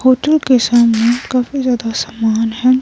Hotel के सामने काफी ज्यादा सामान है.